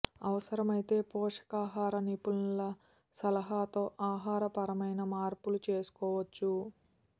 అవసరమైతే పోషకాహార నిపుణుల సలహాతో ఆహార పరమైన మార్పులు చేసుకోవచ్చు